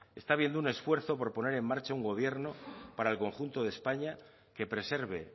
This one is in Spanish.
está habiendo un esfuerzo por poner en marcha un gobierno para el conjunto de españa que preserve